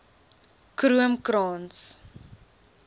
kroomkrans